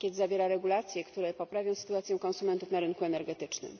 Pakiet zawiera regulacje, które poprawią sytuację konsumentów na rynku energetycznym.